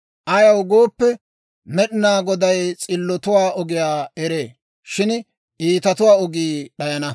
Ayaw gooppe, Med'inaa Goday s'illotuwaa ogiyaa eree; shin iitatuwaa ogii d'ayana.